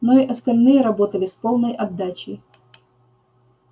но и остальные работали с полной отдачей